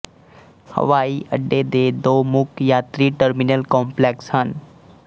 ਹਵਾਈ ਅੱਡੇ ਦੇ ਦੋ ਮੁੱਖ ਯਾਤਰੀ ਟਰਮੀਨਲ ਕੰਪਲੈਕਸ ਹਨ